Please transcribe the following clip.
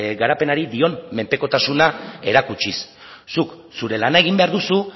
garapenari dion menpekotasuna erakutsiz zuk zure lana egin behar duzu